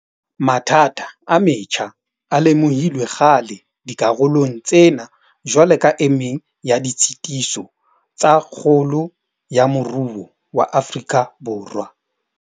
Mathata a metjha a lemohilwe kgale dikarolong tsena jwalo ka e meng ya ditshitiso tsa kgolo ya moruo wa Afrika Borwa.